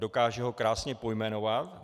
Dokáže ho krásně pojmenovat.